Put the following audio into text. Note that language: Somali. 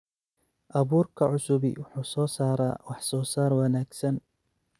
Abuurka cusubi wuxuu soo saaraa wax-soosaar wanaagsan.